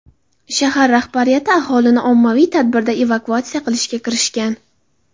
Shahar rahbariyati aholini ommaviy ravishda evakuatsiya qilishga kirishgan.